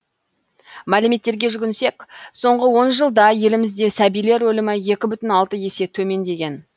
мәліметтерге жүгінсек соңғы он жылда елімізде сәбилер өлімі екі бүтін алты есе төмендеген